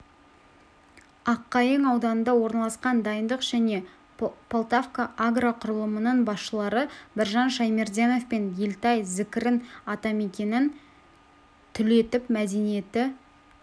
аққайың ауданында орналасқан дайындық және полтавка агроқұрылымдарының басшылары біржан шаймерденов пен елтай зікірин атамекенін түлетіп мәдениеті